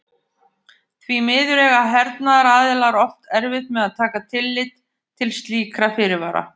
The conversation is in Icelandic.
Því miður eiga hernaðaraðilar oft erfitt með að taka tillit til slíkra fyrirvara.